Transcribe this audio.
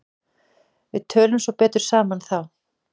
Við tölum svo betur saman þá.